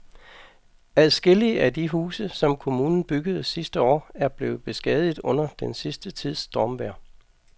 Adskillige af de huse, som kommunen byggede sidste år, er blevet beskadiget under den sidste tids stormvejr.